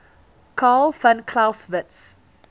carl von clausewitz